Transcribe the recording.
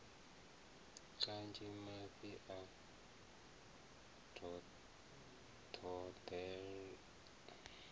kanzhi mafhi a boḓelo a